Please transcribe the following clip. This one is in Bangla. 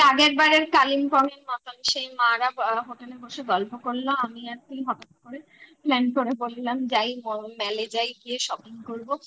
ওই আগের বারের Kalimpong এর মতন সেই মা রা hotel বসে গল্প করলো আমি আর তুই হঠাৎ করে plan করে বললাম যাই mall যাই গিয়ে shopping করবো